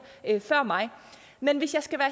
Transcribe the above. før mig men hvis jeg skal være